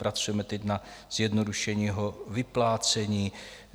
Pracujeme teď na zjednodušení jeho vyplácení.